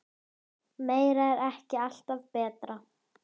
Meira er ekki alltaf betra.